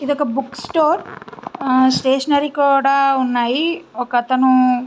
ఇది ఓక book store stationery కూడా ఉన్నాయి ఒక అతను --